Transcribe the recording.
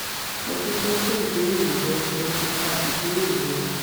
mo dúpẹ́ fún ìbéèrè rẹ mo ti ka ìbéèrè rẹ